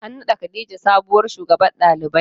An naɗa khadijah sabuwar shugabar ɗalibai.